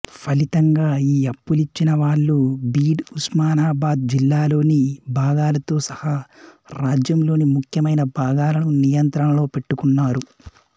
ఫలితంగా ఈ అప్పులిచ్చినవాళ్ళు భీడ్ ఉస్మానాబాద్ జిల్లాల్లోని భాగాలతో సహా రాజ్యంలోని ముఖ్యమైన భాగాలను నియంత్రణలో పెట్టుకున్నారు